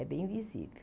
É bem visível.